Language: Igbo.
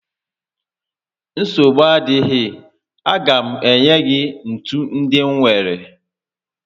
Nsogbu adịghị, a ga m enye gị ntu ndị m nwèrè